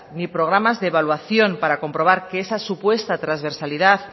ni programas de evaluación para comprobar que esa supuesta transversalidad